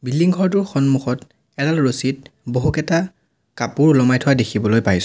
Building ঘৰটোৰ সন্মুখত এডাল ৰছীত বহুকেইটা কাপোৰ ওলোমাই থোৱা দেখিবলৈ পাইছোঁ।